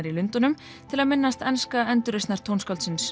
í Lundúnum til að minnast enska